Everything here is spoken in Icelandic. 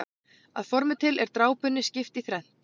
Að formi til er drápunni skipt í þrennt.